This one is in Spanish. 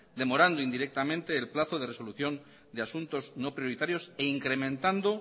demorando indirectamente el plazo de resolución de asuntos no prioritarios e incrementando